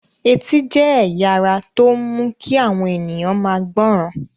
Etí jẹ́ ẹ̀ya ara tó ń mu kí àwọn ènìyàn máa gbọ́ràn.